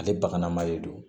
Ale baganma de don